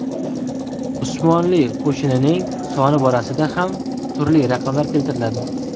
Usmonli qo‘shinining soni borasida ham turli raqamlar keltiriladi.